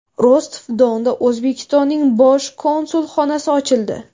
Rostov-Donda O‘zbekistonning bosh konsulxonasi ochildi.